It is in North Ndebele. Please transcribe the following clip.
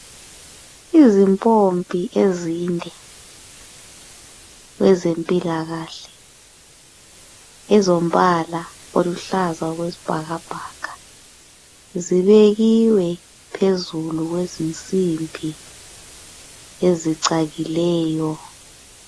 Izimpompi ezinde kwezempilakahle, ezombala oluhlaza okwesibhakabhaka. Zibekiwe phezulu kwezinsimbi ezicakileyo.